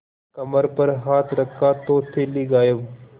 कमर पर हाथ रखा तो थैली गायब